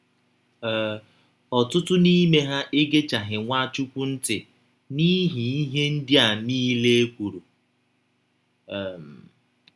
um Ọtụtụ n’ime ha egechaghị Nwachụkwụ ntị n’ihi ihe ndị a niile e kwụrụ. um